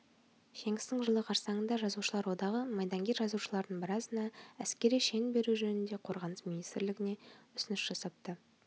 жеңістің жылы қарсаңында жазушылар одағы майдангер жазушылардың біразына әскери шен беру жөнінде қорғаныс министірлігіне ұсыныс жасапты